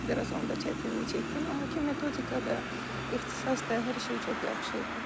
Bir az onda çətinlik çəkdim, amma ki, metodika da, ixtisas da, hər şey çox yaxşı idi.